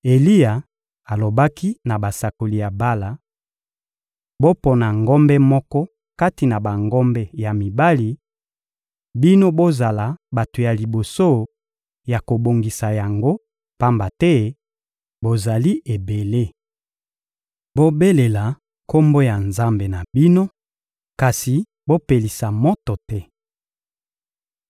Eliya alobaki na basakoli ya Bala: — Bopona ngombe moko kati na bangombe ya mibali; bino bozala bato ya liboso ya kobongisa yango, pamba te bozali ebele. Bobelela kombo ya nzambe na bino, kasi bopelisa moto te.